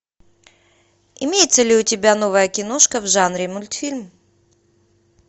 имеется ли у тебя новая киношка в жанре мультфильм